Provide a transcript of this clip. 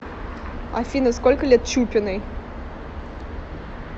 афина сколько лет чупиной